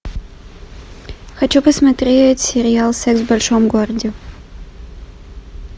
хочу посмотреть сериал секс в большом городе